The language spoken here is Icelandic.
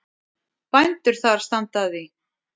Bændur þar standa að því.